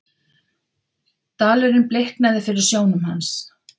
Dalurinn bliknaði fyrir sjónum hans.